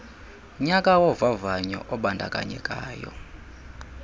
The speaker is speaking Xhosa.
nyaka wovavanyo ubandakanyekayo